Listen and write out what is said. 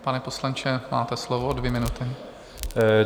Pane poslanče, máte slovo, dvě minuty.